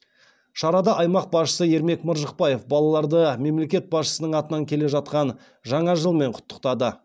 шарада аймақ басшысы ермек маржықпаев балаларды мемлекет басшысының атынан келе жатқан жаңа жылмен құттықтады